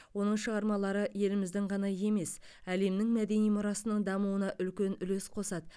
оның шығармалары еліміздің ғана емес әлемнің мәдени мұрасының дамуына үлкен үлес қосады